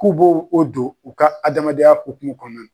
K'u b'o o don u ka adamadenya hukumu kɔnɔna na